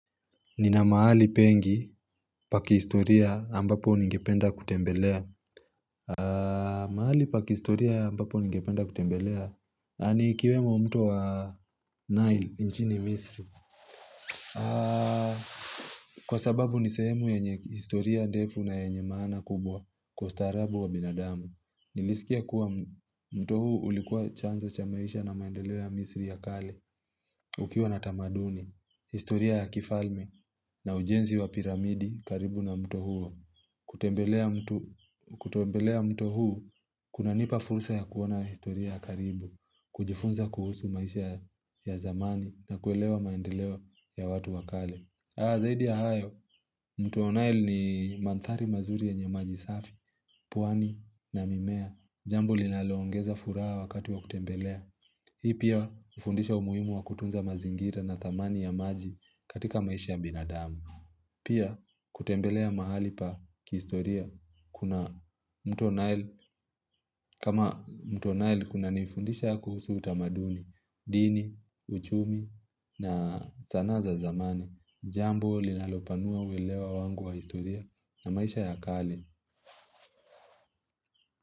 Nina mahali pengi paki historia ambapo ningependa kutembelea mahali pa kihistoria ambapo ningependa kutembelea ni ikiwemo mtu wa Nile nchini misri Kwa sababu ni sehemu yenye historia defu na yenye maana kubwa kwa ustaarabu wa binadamu Nilisikia kuwa mto huu ulikuwa chanzo cha maisha na maendelewa ya misri ya kale ukiwa na tamaduni, historia ya kifalme na ujenzi wa piramidi karibu na mto huo. Kutembelea mto huo, kunanipa fulsa ya kuona historia karibu, kujifunza kuhusu maisha ya zamani na kuelewa maendeleo ya watu wakale. Zaidi ya hayo, mto wa nile ni manthari mazuri yenye maji safi, pwani na mimea. Jambo linaloongeza furaha wakati wa kutembelea. Hii pia hufundisha umuhimu wa kutunza mazingira na thamani ya maji katika maisha ya binadamu Pia kutembelea mahali pa kihistoria kuna mto nile kunanifundisha kuhusu utamaduni, dini, uchumi na zanaa za zamani Jambo linalopanua uelewa wangu wa historia na maisha ya kale.